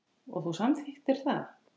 Og þú samþykktir það.